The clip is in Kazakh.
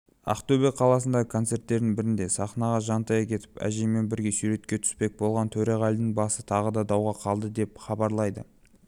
ақтөбе қаласындағы концерттердің бірінде сахнаға жантая кетіп әжеймен бірге суретке түспек болған төреғалидың басы тағы дадауға қалды деп хабарлайды